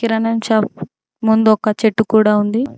కిరాణా shop ముందు ఒక చెట్టు కూడా ఉంది.